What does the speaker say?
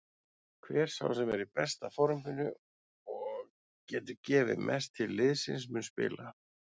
Hver sá sem er í besta forminu og getur gefið mest til liðsins mun spila.